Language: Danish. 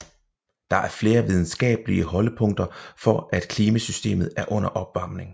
Der er flere videnskabelige holdepunkter for at klimasystemet er under opvarmning